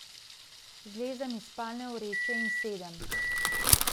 Zlezem iz spalne vreče in sedem.